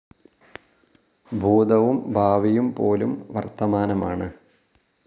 ഭൂതവും ഭാവിയും പോലും വർത്തമാനമാണ്.